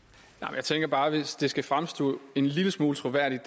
jeg tænker bare at hvis det her skal fremstå en lille smule troværdigt